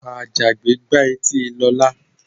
Àjàgbé gbá etí Lọlá.